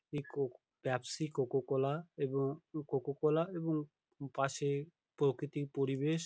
একক Pepsi Coca Cola এবং Coca Cola এবং পাশে প্রকৃতি পরিবেশ।